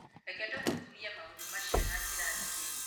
Reke tũthuthurie maũndũ macio na njĩra ndikĩru.